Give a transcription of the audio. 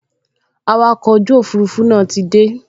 Awakọ̀ ojú òfurufú náà ti dé